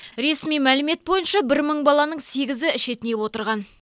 ресми мәлімет бойынша бір мың баланың сегізі шетінеп отырған